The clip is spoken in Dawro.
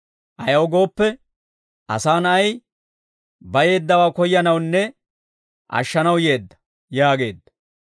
Ayaw gooppe, Asaa Na'ay bayeeddawaa koyyanawunne ashshanaw yeedda» yaageedda.